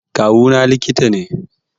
Kawuna likita ne